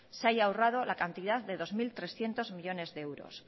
se haya ahorrado la cantidad de dos mil trescientos millónes de euros